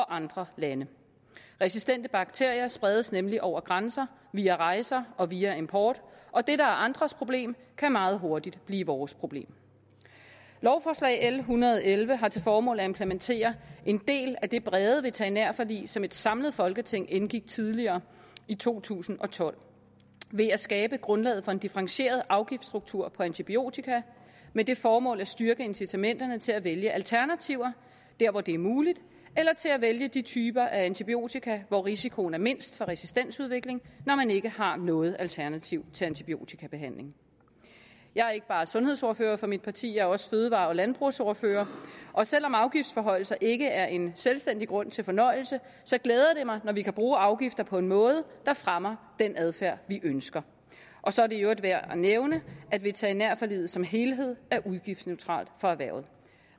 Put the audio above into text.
andre lande resistente bakterier spredes nemlig over grænser via rejser og via import og det der er andres problem kan meget hurtigt blive vores problem lovforslag l en hundrede og elleve har til formål at implementere en del af det brede veterinærforlig som et samlet folketing indgik tidligere i to tusind og tolv ved at skabe grundlaget for en differentieret afgiftsstruktur for antibiotika med det formål at styrke incitamenterne til at vælge alternativer hvor det er muligt eller til at vælge de typer af antibiotika hvor risikoen er mindst for resistensudvikling når man ikke har noget alternativ til antibiotikabehandling jeg er ikke bare sundhedsordfører for mit parti jeg er også fødevare og landbrugsordfører og selv om afgiftsforhøjelser ikke er en selvstændig grund til fornøjelse så glæder det mig når vi kan bruge afgifter på en måde der fremmer den adfærd vi ønsker og så er det i øvrigt værd at nævne at veterinærforliget som helhed er udgiftsneutralt for erhvervet